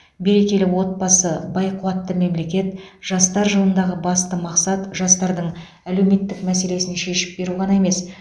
берекелі отбасы бай қуатты мемлекет жастар жылындағы басты мақсат жастардың әлеуметтік мәселесін шешіп беру ғана емес